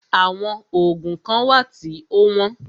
Àwọn oògùn kán wà tí o wọ́n.